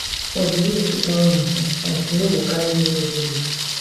for di year two thousand and twenty-five you no go carry any evil load